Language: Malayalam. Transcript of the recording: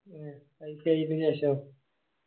ശേഷോ